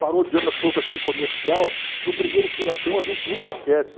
Parodiando um pouco aquele comercial, do primeiro furacão a gente nunca esquece.